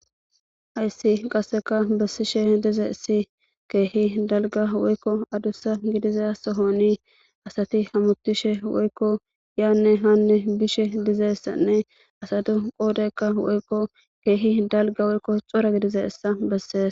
hayssi qasseka be7ishe dize issi keehi dalga woykko adussa gidiza sohoni asati hamutishe woykko yaanne haanne bishe dizeysanne asatu qoodeykka woykko keehi dalga woykko xora gidize essa bessees